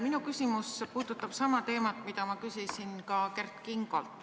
Minu küsimus puudutab sama teemat, mille kohta ma küsisin ka Kert Kingolt.